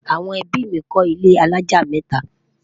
àwọn ẹbí mí kò ilé alájá meta